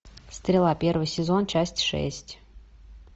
стрела первый сезон часть шесть